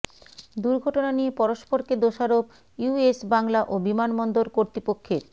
দুর্ঘটনা নিয়ে পরস্পরকে দোষারোপ ইউএস বাংলা ও বিমানবন্দর কর্তৃপক্ষের